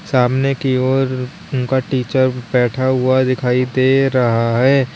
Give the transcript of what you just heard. सामने की ओर उनका टीचर बैठा हुआ दिखाई दे रहा है।